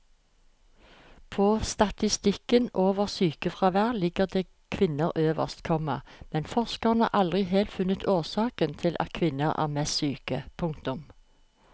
På statistikken over sykefravær ligger det kvinner øverst, komma men forskerne har aldri helt funnet årsaken til at kvinner er mest syke. punktum